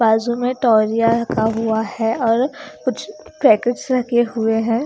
बाजू में टॉलिया रखा हुआ है और कुछ पैकेट्स रखे हुए हैं।